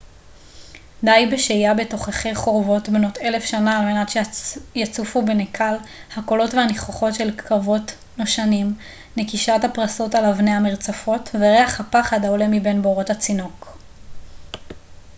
די בשהיה בתוככי חורבות בנות אלף שנה על מנת שיצופו בנקל הקולות והניחוחות של קרבות נושנים נקישת הפרסות על אבני המרצפות וריח הפחד העולה מבין בורות הצינוק